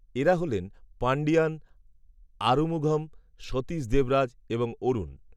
এরা হল পাণ্ডিয়ান, আরুমুঘম, সতীশ দেবরাজ, এবং অরুণ